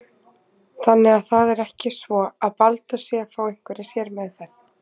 Þannig að það er ekki svo að Baldur sé að fá einhverja sérmeðferð?